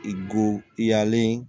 I go i yalen